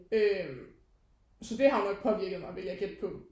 Øh så det har jo nok påvirket mig ville jeg gætte på